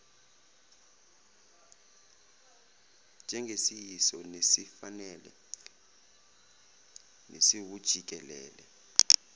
njengesiyiso nesifanele nesiwujikelele